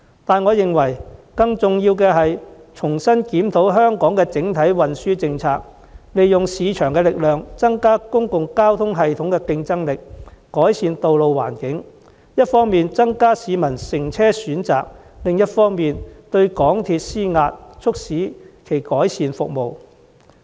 但更重要的是，政府應重新檢討香港的整體運輸政策，利用市場力量提升公共交通系統的競爭力，改善道路環境，從而一方面增加市民的乘車選擇，另一方面對港鐵公司施壓，促使其改善服務。